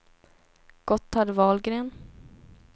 Gotthard Wahlgren